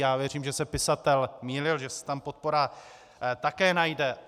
Já věřím, že se pisatel mýlil, že se tam podpora také najde.